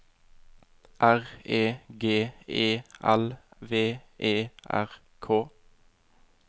R E G E L V E R K